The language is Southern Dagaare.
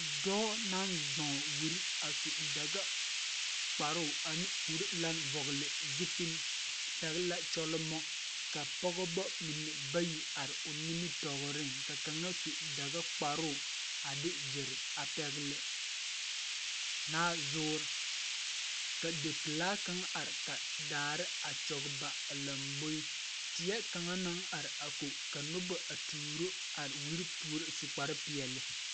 Dɔɔ naŋ zɔɔ wire a su dagakparoo a ne kurilan vɔgle zupil pɛgl la kyɔlmɔ ka pɔgeba mine bayi are o nimitɔɔriŋ ka kaŋa su dagakparoo a de gyere a pɛgle naazoɔre ka dipilaa kaŋ are ka daare a kyɔŋ ba a lamboe teɛ kaŋa naŋ are ko ka noba a tooro a wire peɛle.